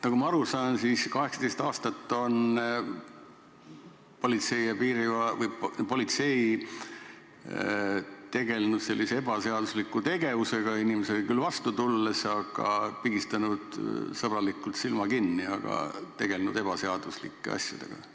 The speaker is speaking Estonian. Nagu ma aru saan, siis 18 aastat on politsei tegelenud sellise ebaseadusliku tegevusega, st inimestele küll vastu tulnud, aga pigistanud sõbralikult silma kinni ja tegelenud ebaseaduslike asjadega.